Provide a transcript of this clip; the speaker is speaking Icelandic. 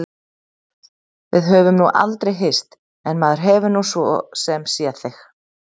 Við höfum nú aldrei hist en maður hefur nú svo sem séð þig.